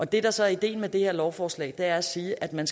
det der så er ideen med det her lovforslag er at sige at man